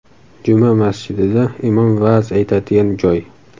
Juma masjidida imom va’z aytadigan joy.